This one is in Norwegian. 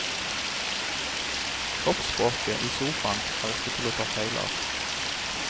Kroppsspråket i sofaen er ikke til å ta feil av.